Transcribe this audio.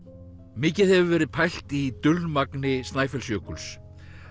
mikið hefur verið pælt í Snæfellsjökuls